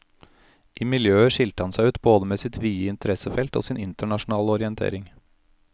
I miljøet skilte han seg ut både med sitt vide interessefelt og sin internasjonale orientering.